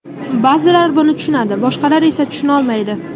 Ba’zilar buni tushunadi, boshqalar esa tushunolmaydi.